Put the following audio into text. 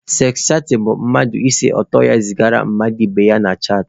Seks chatịn bụ mmadụ ise ọtọ ya zigara mmadụ ibe ya na chaatị.